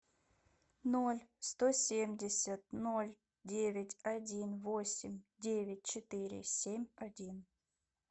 ноль сто семьдесят ноль девять один восемь девять четыре семь один